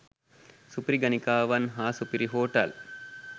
සුපිරි ගණිකාවන් හා සුපිරි හෝටල්